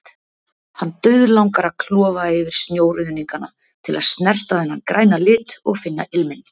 Hann dauðlangar að klofa yfir snjóruðningana til að snerta þennan græna lit, og finna ilminn.